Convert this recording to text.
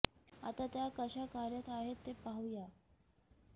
आता त्या कशा कार्यरत आहेत ते पाहू या